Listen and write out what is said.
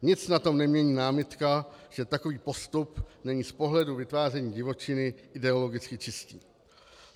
Nic na tom nemění námitka, že takový postup není z pohledu vytváření divočiny ideologicky čistý.